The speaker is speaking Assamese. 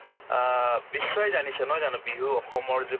অ, বিশ্বই জানিছে নহয় জানো বিহু অসমৰ যে